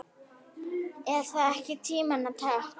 Er það ekki tímanna tákn?